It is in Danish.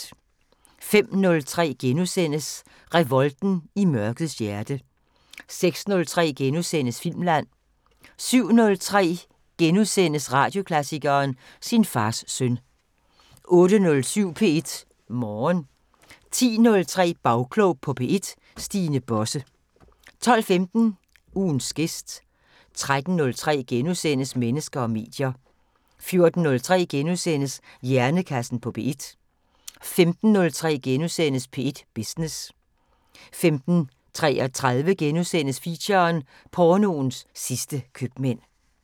05:03: Revolten i mørkets hjerte * 06:03: Filmland * 07:03: Radioklassikeren: Sin fars søn * 08:07: P1 Morgen 10:03: Bagklog på P1: Stine Bosse 12:15: Ugens gæst 13:03: Mennesker og medier * 14:03: Hjernekassen på P1 * 15:03: P1 Business * 15:33: Feature: Pornoens sidste købmænd *